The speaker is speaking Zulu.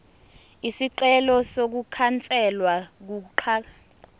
isicelo sokukhanselwa kokuhlakazwa